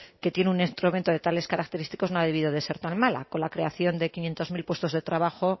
que tiene un instrumento de tales características no ha debido de ser tan mala con la creación de quinientos mil puestos de trabajo